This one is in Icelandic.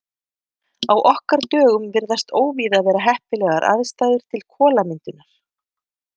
Á okkar dögum virðast óvíða vera heppilegar aðstæður til kolamyndunar.